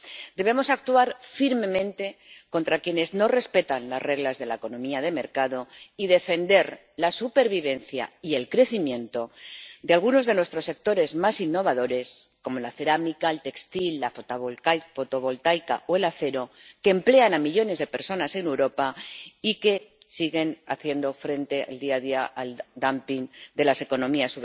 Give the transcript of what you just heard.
Debemos actuar firmemente contra quienes no respetan las reglas de la economía de mercado y defender la supervivencia y el crecimiento de algunos de nuestros sectores más innovadores, como la cerámica, el textil, la fotovoltaica o el acero, que emplean a millones de personas en Europa y que siguen haciendo frente, día a día, al dumping de las economías